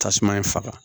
Tasuma in faga